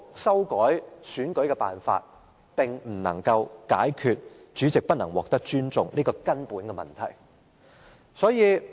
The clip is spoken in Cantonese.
修改主席選舉辦法根本不能解決主席不獲尊重的問題。